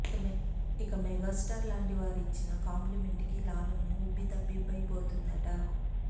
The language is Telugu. ఇక మెగాస్టార్ లాంటి వారు ఇచ్చిన కాంప్లిమెంట్ కి లావణ్య ఉబ్బి తబ్బిబై పోతుందిట